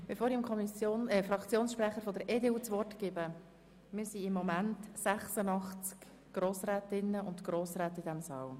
Bevor ich dem Fraktionssprecher der EDU das Wort erteile, muss ich Ihnen sagen, dass sich hier im Saal im Moment gerade mal 86 Grossrätinnen und Grossräte befinden.